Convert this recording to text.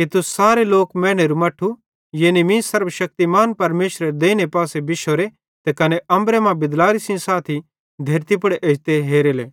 कि तुस सारे लोक मैनेरू मट्ठू यानी मीं सर्वशक्तिमान परमेशरेरी देइने पासे बिश्शोरे त अम्बरे मरां बिदलारे सेइं साथी धेरती पुड़ एजते हेरेले